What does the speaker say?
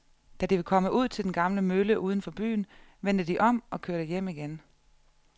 Da de var kommet ud til den gamle mølle uden for byen, vendte de om og kørte hjem igen.